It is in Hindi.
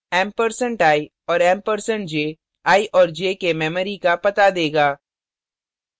ampersand एम्प्रसैंड i और ampersand एम्प्रसैंड j i और j के memory का पता देगा